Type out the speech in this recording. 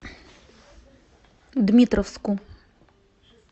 дмитровску